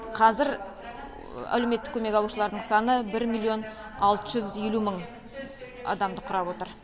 қазір әлеуметтік көмек алушылардың саны бір миллион алты жүз елу мың адамды құрап отыр